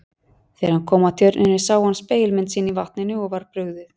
Þegar hann kom að tjörninni sá hann spegilmynd sína í vatninu og var brugðið.